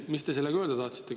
Mida te sellega öelda tahtsite?